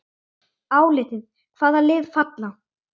Álitið: Hvaða lið falla?